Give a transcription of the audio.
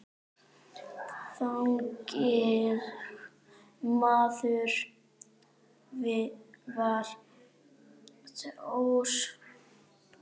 Þannig maður var Þór.